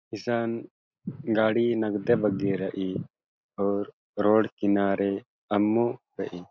इसन गाड़ी नग्दे बग्गे रइई और रोड किनारे अम्मू रइई--